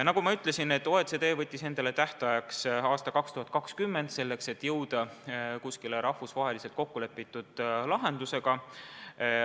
Nagu ma ütlesin, OECD võttis endale tähtajaks aasta 2020 – selleks ajaks tahetakse jõuda mingile rahvusvaheliselt kokku lepitud lahendusele.